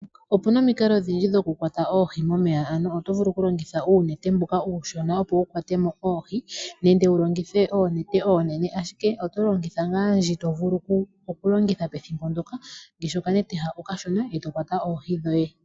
Opuna omikalo odhindji dhoku kwata oohi momeya . Ano oto vulu oku longitha uunete mbuka uushona opo wu kwate mo oohi , nenge wu longithe oonete oonene ashike , otolongitha ngaa ndji to vulu oku longitha pethimbo ndyoka ngaashi okanete ha okashona eto kwata oohi dhoye .